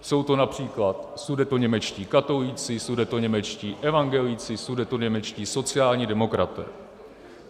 Jsou to například sudetoněmečtí katolíci, sudetoněmečtí evangelíci, sudetoněmečtí sociální demokraté.